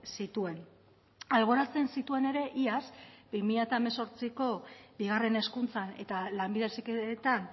zituen alboratzen zituen ere iaz bi mila hemezortziko bigarren hezkuntzan eta lanbide heziketan